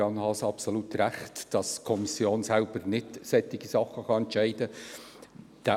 Adrian Haas hat absolut recht darin, dass die Kommission selber nicht solche Sachen entscheiden kann.